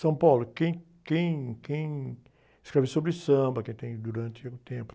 São Paulo, quem, quem, quem escreve sobre samba, quem tem, durante o tempo.